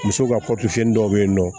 Muso ka dɔw bɛ yen nɔ